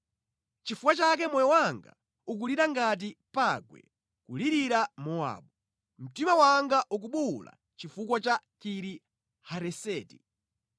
Chifukwa chake moyo wanga ukulira ngati pangwe kulirira Mowabu, mtima wanga ukubuwula chifukwa cha Kiri Hareseti.